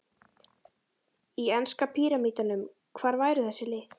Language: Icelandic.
Í enska píramídanum, hvar væru þessi lið?